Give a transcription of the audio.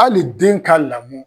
Hali den ka lamɔ